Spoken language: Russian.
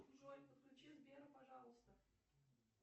джой подключи сбера пожалуйста